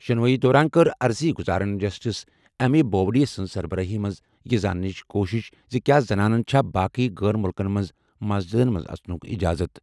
شُنوٲیی دوران کٔر عرضی گزارَن جسٹس ایس اے بوبڈے سٕنٛز سربرٲہی منٛز یہِ زانٕنٕچ کوٗشِش زِ کیا زنانَن چھا باقٕے غٲر مُلکن منٛز مسجدن منٛز اژنُک اِجازت۔